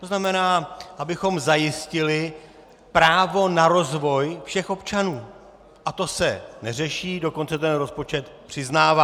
To znamená, abychom zajistili právo na rozvoj všech občanů, a to se neřeší, dokonce to rozpočet přiznává.